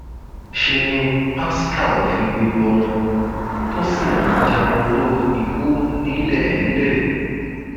ṣe ni pascal figbe bọnu tó sì ń jáporo ikú nílẹẹlẹ